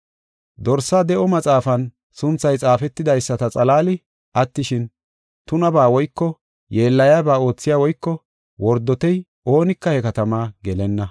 Dorsaa de7o maxaafan sunthay xaafetidaysata xalaali attishin, tunabaa woyko yeellayaba oothey woyko wordotey oonika he katamaa gelenna.